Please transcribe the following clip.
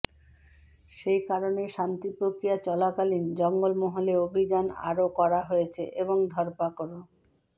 সেই কারণেই শান্তি প্রক্রিয়া চলাকালীন জঙ্গলমহলে অভিযান আরও কড়া হয়েছে এবং ধরপাকড়ও